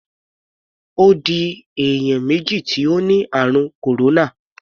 Ó di èèyàn méjì tí ó ni ààrùn kòróná.